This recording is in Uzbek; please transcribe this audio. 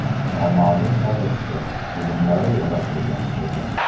Noma’lum kolleksiya” filmlari yaratilgan edi.